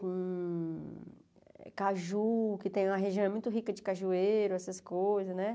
Com caju, que tem uma região muito rica de cajueiro, essas coisas, né?